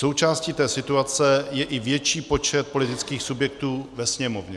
Součástí té situace je i větší počet politických subjektů ve Sněmovně.